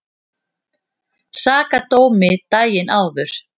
Sakadómi daginn áður.